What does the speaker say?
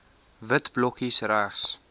wit blokkies regs